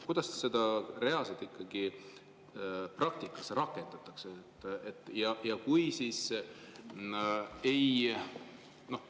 Kuidas seda reaalselt praktikas ikkagi rakendatakse?